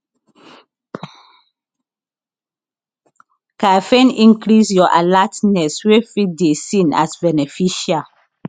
caffeine increase your alertness wey fit dey seen as beneficial